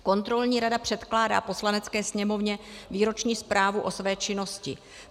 Kontrolní rada předkládá Poslanecké sněmovně výroční zprávu o své činnosti.